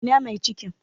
Ina mai cikin?